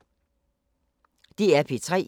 DR P3